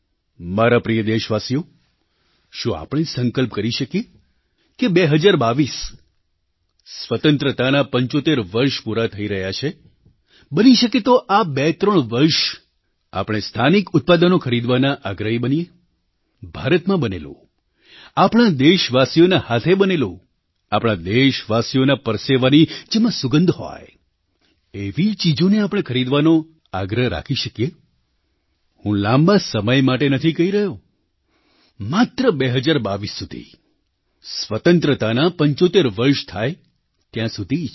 મારા પ્રિય દેશવાસીઓ શું આપણે સંકલ્પ કરી શકીએ કે 2022 સ્વતંત્રતાનાં 75 વર્ષ પૂરાં થઈ રહ્યાં છે બની શકે તો આ બેત્રણ વર્ષ આપણે સ્થાનિક ઉત્પાદનો ખરીદવાનાં આગ્રહી બનીએ ભારતમાં બનેલું આપણા દેશવાસીઓના હાથે બનેલું આપણા દેશવાસીઓના પરસેવાની જેમાં સુગંધ હોય એવી ચીજોને આપણે ખરીદવાનો આગ્રહ રાખી શકીએ હું લાંબા સમય માટે નથી કહી રહ્યો માત્ર 2022 સુધી સ્વતંત્રતાના 75 વર્ષ થાય ત્યાં સુધી જ